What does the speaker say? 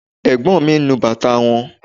Ẹ̀gbọ́n mi ń nu bàtà wọn